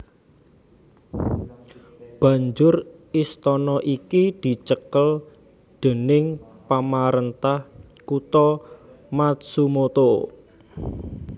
Banjur istana iki dicekel déning pamarentah kutha Matsumoto